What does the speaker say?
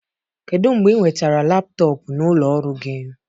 Kedu mgbe ị nwetara laptọọpụ n'ụlọ ọrụ gị?